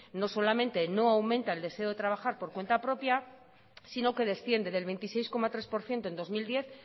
no solamente no aumenta el deseo de trabajar por cuenta propia sino que desciende del veintiséis coma tres por ciento en dos mil diez